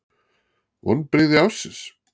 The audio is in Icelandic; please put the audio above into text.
Vonbrigði ársins?